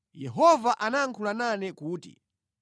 Yehova anayankhula nane kuti,